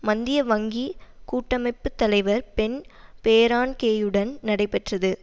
மந்திய வங்கி கூட்டமைப்பு தலைவர் பென் பெர்னான்கேயுடன் நடைபெற்றது